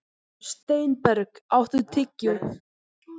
Steinberg, áttu tyggjó?